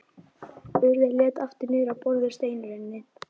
Urður leit aftur niður á borðið, steinrunnin.